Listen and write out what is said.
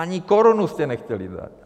Ani korunu jste nechtěli dát.